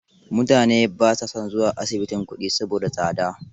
Mutane ba sa son zuwa asibitin kuɗi saboda tsada.